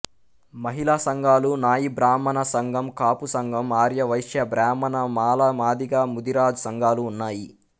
మహిళా సంఘాలు నాయి బ్రాహ్మణ సంఘం కాపు సంఘం ఆర్య వైశ్య బ్రాహ్మణ మాల మాదిగ ముదిరాజ్ సంఘాలు ఉన్నాయి